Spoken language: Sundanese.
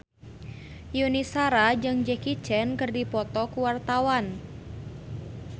Yuni Shara jeung Jackie Chan keur dipoto ku wartawan